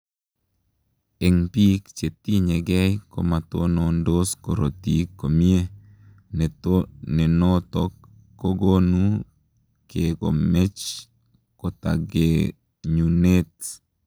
Eng piik chetinye gei komatonondos korotik komie ,nenotok kogonuu kekomech kotagenyunet.